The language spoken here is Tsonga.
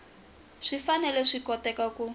swi fanele swi koteka ku